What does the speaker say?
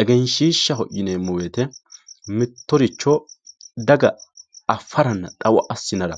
egenshiishaho yineemowoyiite mittoricho daga affaranna xawo assinara